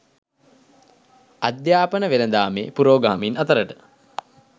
අධ්‍යාපන වෙළඳාමේ පුරෝගාමින් අතරට